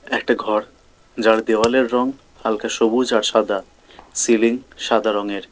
একটা ঘর যার দেওয়ালের রং হালকা সবুজ আর সাদা সিলিং সাদা রঙের।